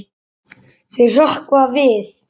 Þau hrökkva við.